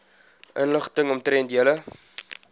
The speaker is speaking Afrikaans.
inligting omtrent julle